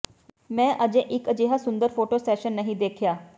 ਮੈਂ ਅਜੇ ਇੱਕ ਅਜਿਹਾ ਸੁੰਦਰ ਫੋਟੋ ਸੈਸ਼ਨ ਨਹੀਂ ਦੇਖਿਆ